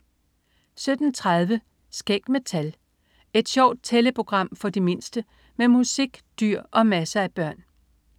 17.30 Skæg med tal. Et sjovt tælleprogram for de mindste med musik, dyr og masser af børn